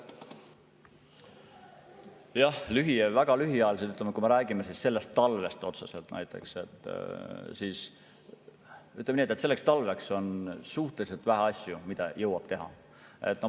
Jah, lühiajalised ja väga lühiajalised, kui me räägime otseselt sellest talvest – ütleme nii, et on suhteliselt vähe asju, mida selleks talveks jõuab teha.